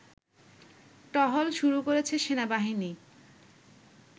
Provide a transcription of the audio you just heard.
টহল শুরু করেছে সেনাবাহিনী